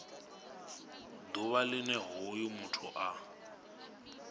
ḓuvha line hoyo muthu a